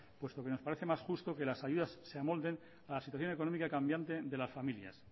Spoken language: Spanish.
puesto que nos parece más justo que las ayudas se amolden a la situación económica cambiante de las familias